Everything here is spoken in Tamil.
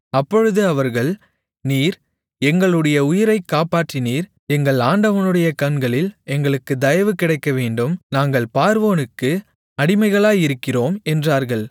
அப்பொழுது அவர்கள் நீர் எங்களுடைய உயிரைக் காப்பாற்றினீர் எங்கள் ஆண்டவனுடைய கண்களில் எங்களுக்குத் தயவு கிடைக்கவேண்டும் நாங்கள் பார்வோனுக்கு அடிமைகளாயிருக்கிறோம் என்றார்கள்